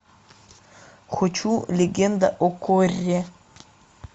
хочу легенда о корре